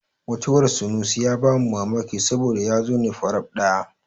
Mutuwar sunusi ya ba mu mamaki saboda ya zo ne faraf ɗaya.